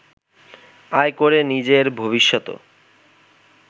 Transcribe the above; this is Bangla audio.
আয় করে নিজের ভবিষ্যতও